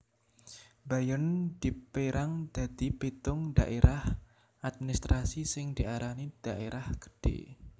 Bayern dipérang dadi pitung dhaérah administrasi sing diarani daerah gedhe